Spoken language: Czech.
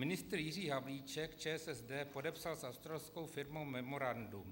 Ministr Jiří Havlíček, ČSSD, podepsal s australskou firmou memorandum.